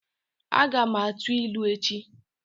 Aga m a tuu ilu echi